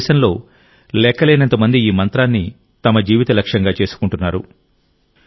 మన దేశంలో లెక్కలేనంతమంది ఈ మంత్రాన్ని తమ జీవిత లక్ష్యంగా చేసుకుంటున్నారు